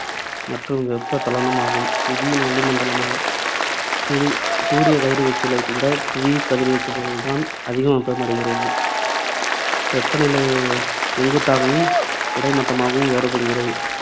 மற்றும் வெப்பச்சலனம் ஆகும். புவியின் வளிமண்டலம் ஆகும். சூரி~ சூரிய கதிர்வீச்சுகளை விட புவி கதிர்வீச்சுகளால் தான் அதிக வெப்பம் அடைகிறது. வெப்பநிலை செங்குத்தாகவும் கிடைமட்டமாகவும் வேறுபடுகிறது.